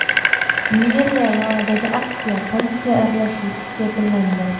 Meriya yonidagi aksiya politsiya aralashuvisiz yakunlandi.